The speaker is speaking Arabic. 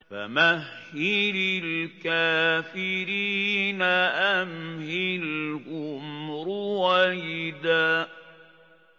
فَمَهِّلِ الْكَافِرِينَ أَمْهِلْهُمْ رُوَيْدًا